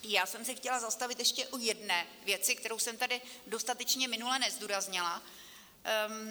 Já jsem se chtěla zastavit ještě u jedné věci, kterou jsem tady dostatečně minule nezdůraznila.